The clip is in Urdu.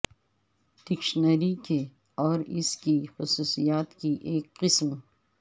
ڈکشنری کے اور اس کی خصوصیات کی ایک قسم